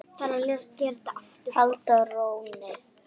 halda rónni.